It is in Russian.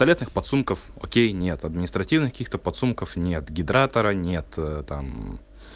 туалетных подсумков окей нет административных каких-то подсумков нет гидратора нет там